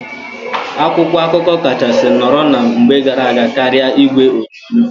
Akwụkwọ akụkọ kachasị nọrọ na mgbe gara aga karịa igwe onyonyo.